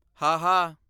ਹਾਹਾ